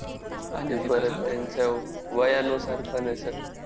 आणि परत त्यांच्या वयानुसार पण आहे सगळं!